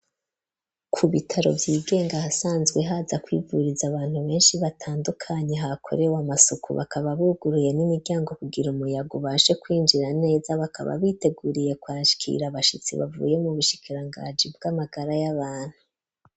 Ku bitaro vy'igenga hasanzwe haza kwivuriza abantu benshi batandukanye, ha korewe amasuku bakaba buguruye n'imiryango kugira umuyago ubashe kwinjira neza bakaba biteguriye kwakira abashitsi ,bavuye mu bushikirangaji bw'amagara y'abantu.